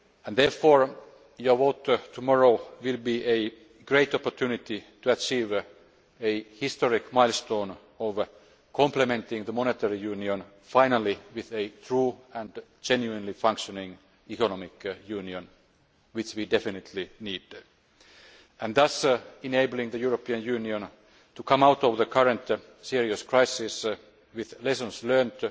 Therefore your vote tomorrow will be a great opportunity to achieve a historic milestone of complementing the monetary union finally with a true and genuinely functioning economic union which we definitely need and thus enabling the European Union to come out of the current serious crisis with lessons